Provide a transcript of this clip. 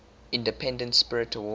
independent spirit award